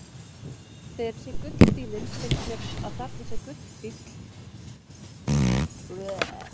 Þegar ég sé gullfífillinn finnst mér að þarna sé gullfífill sem er gulur.